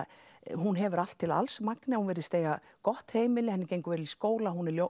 hún hefur allt til alls Magnea hún virðist eiga gott heimili henni gengur vel í skóla hún er